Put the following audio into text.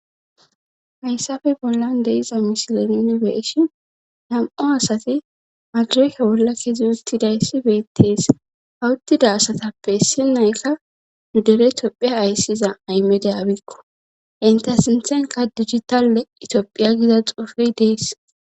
hayssafe bollan deiza misilenene be7eshin nam7o asati madireke bolla kezi ustidayssi beettees ha uttida asatappe issi nayka nu dere tophiya ayssiza ayimede abikko inte sinthenka digitalle itoophiya giza xofey dees